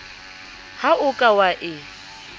ha o ka wa e